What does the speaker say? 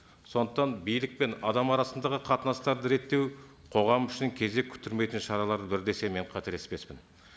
сондықтан билік пен адам арасындағы қатынастарды реттеу қоғам үшін кезек күттірмейтін шаралардың бірі десем мен қателеспеспін